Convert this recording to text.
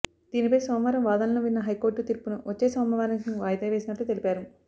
దీనిపై సోమవారం వాదనలు విన్న హైకోర్టు తీర్పును వచ్చే సోమవారానికి వాయిదా వేసినట్లు తెలిపారు